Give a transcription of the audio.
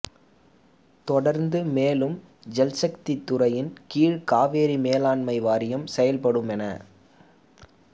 தொடர்ந்து மேலும் ஜல்சக்தி துறையின் கீழ் காவிரி மேலாண்மை வாரியம் செயல்படும் என